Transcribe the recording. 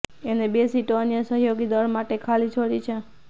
અને બે સીટો અન્ય સહયોગી દળ માટે ખાલી છોડી છે